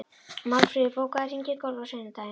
Málfríður, bókaðu hring í golf á sunnudaginn.